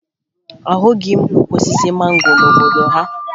Ahụghị m ukwu osisi mango n'obodo ha